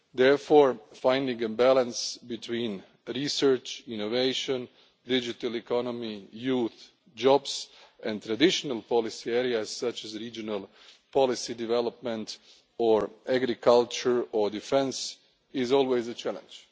Therefore, finding a balance between research, innovation, the digital economy, youth, jobs, and traditional policy areas, such as regional policy development or agriculture or defence, is always a challenge.